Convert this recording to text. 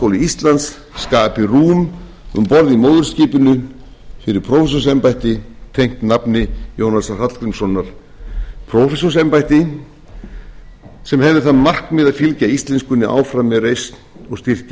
háskóli íslands skapi rúm um borð í móðurskipinu fyrir prófessorsembætti tengt nafni jónasar hallgrímssonar prófessorsembætti sem hefði það markmið að fylgja íslenskunni áfram með reisn og styrkja